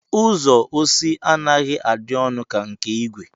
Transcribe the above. Uzo osi anaghi adi onu ka nke igwe